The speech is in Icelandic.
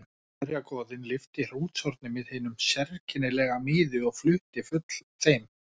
Allsherjargoðinn lyfti hrútshorni með hinum sérkennilega miði og flutti full þeim